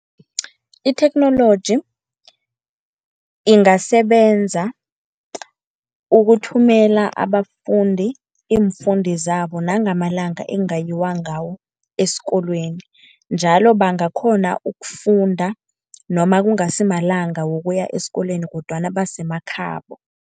Itheknoloji ingasebenza ukuthumela abafundi iimfundo zabo nangamalanga ekungayiwa ngawo esikolweni. Njalo bangakghona ukufunda noma kungasi malanga wokuya esikolweni kodwana basemakhabo.